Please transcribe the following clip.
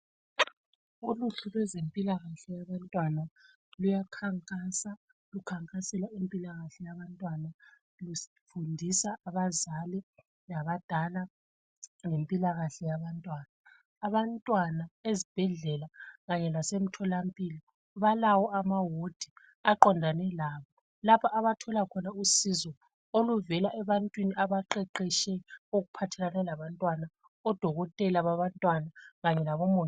Uluhlu lwezempilakahle yabantwana luyakhankasa lukhankasela impilakahle yabantwana. Lufundisa abazali labadala ngempilakahle yabantwana. Abantwana ezibhedlela kanye lasemtholampilo balawo amawodi aqondane labo lapho abathola khona usizo oluvela ebantwini abaqeqetshe okuphathelane labantwana, odokotela babantwana kanye labomongikazi.